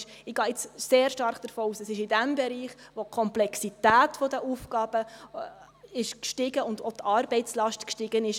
Ich gehe jetzt sehr stark davon aus, dass es in diesem Bereich ist, wo die Komplexität der Aufgaben und auch die Arbeitslast gestiegen ist.